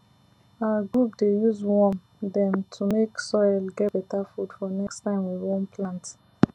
our group dey use worm dem to make soil get better food for next time we wan plant